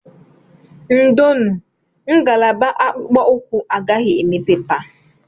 Ndonu, ngalaba akpụkpọ ụkwụ agaghị emepe taa